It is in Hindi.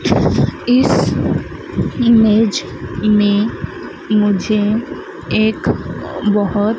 इस इमेज में मुझे एक बहोत--